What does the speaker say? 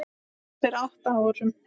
Það var fyrir átta árum.